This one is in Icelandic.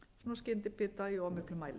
skyndibita í of miklum mæli